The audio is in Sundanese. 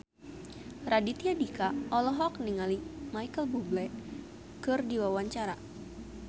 Raditya Dika olohok ningali Micheal Bubble keur diwawancara